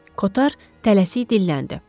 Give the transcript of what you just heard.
Kotar tələsik dilləndi.